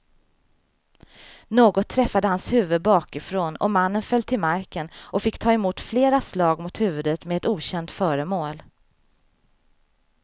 Något träffade hans huvud bakifrån och mannen föll till marken och fick ta emot flera slag mot huvudet med ett okänt föremål.